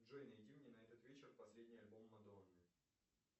джой найди мне на этот вечер последний альбом мадонны